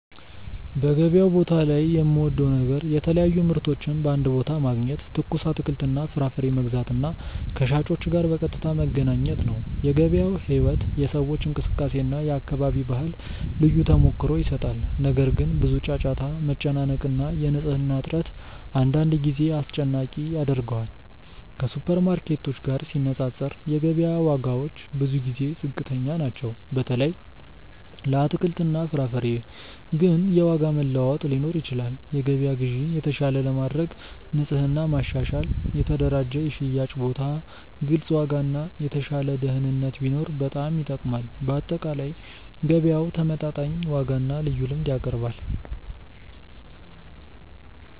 በገበያው ላይ የምወደው ነገር የተለያዩ ምርቶችን በአንድ ቦታ ማግኘት፣ ትኩስ አትክልትና ፍራፍሬ መግዛት እና ከሻጮች ጋር በቀጥታ መገናኘት ነው። የገበያው ሕይወት፣ የሰዎች እንቅስቃሴ እና የአካባቢ ባህል ልዩ ተሞክሮ ይሰጣል። ነገር ግን፣ ብዙ ጫጫታ፣ መጨናነቅ እና የንጽህና እጥረት አንዳንድ ጊዜ አስጨናቂ ያደርገዋል። ከሱፐርማርኬቶች ጋር ሲነፃፀር፣ የገበያ ዋጋዎች ብዙ ጊዜ ዝቅተኛ ናቸው፣ በተለይ ለአትክልትና ፍራፍሬ። ግን የዋጋ መለዋወጥ ሊኖር ይችላል። የገበያ ግዢን የተሻለ ለማድረግ ንጽህና ማሻሻል፣ የተደራጀ የሽያጭ ቦታ፣ ግልጽ ዋጋ እና የተሻለ ደህንነት ቢኖር በጣም ይጠቅማል። በአጠቃላይ፣ ገበያው ተመጣጣኝ ዋጋና ልዩ ልምድ ያቀርባል።